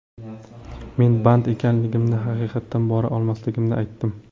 Men ‘band ekanligimni, haqiqatdan bora olmasligimni’, aytdim.